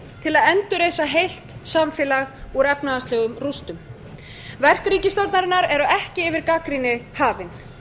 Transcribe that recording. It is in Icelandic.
til að endurreisa heilt samfélag úr efnahagslegum rústum verki ríkisstjórnarinnar eru ekki yfir gagnrýni hafin